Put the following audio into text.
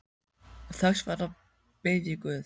Og þess vegna bið ég guð.